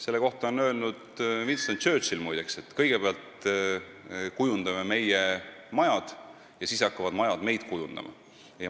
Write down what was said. Selle kohta on öelnud Winston Churchill, muide, et kõigepealt kujundame meie majad ja siis hakkavad majad kujundama meid.